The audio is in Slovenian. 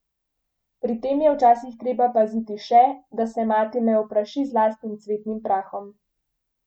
Pri tem je včasih treba paziti še, da se mati ne opraši z lastnim cvetnim prahom.